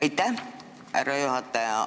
Aitäh, härra juhataja!